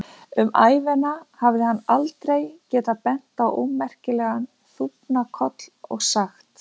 Um ævina hafði hann aldrei getað bent á ómerkilegan þúfnakoll og sagt